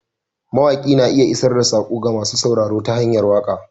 Mawaƙi na iya isar da saƙo ga masu sauraro ta hanyar waka.